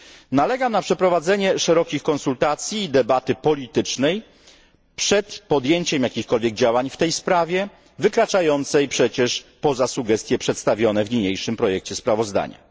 Nalegam na przeprowadzenie szerokich konsultacji i debaty politycznej przed podjęciem jakichkolwiek działań w tej sprawie wykraczającej przecież poza sugestie przedstawione w niniejszym projekcie sprawozdania.